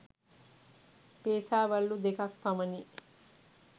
පේසා වළලු දෙකක් පමණි.